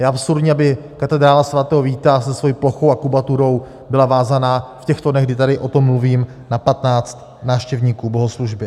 Je absurdní, aby katedrála sv. Víta se svou plochou a kubaturou byla vázána v těchto dnech, kdy tady o tom mluvím, na 15 návštěvníků bohoslužby.